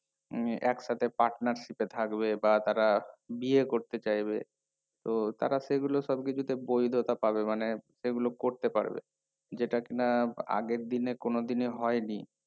উম একসাথে partnership এ থাকবে বা তারা বিয়ে করতে চাইবে তো তারা সেগুলো সবকিছুতে বৈধতা পাবে মানে সেগুলো করতে পারবে যেটা কিনা আগের দিনে কোনোদিনই হয়নি